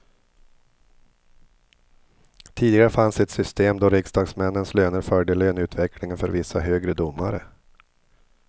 Tidigare fanns ett system då riksdagsmännens löner följde löneutvecklingen för vissa högre domare.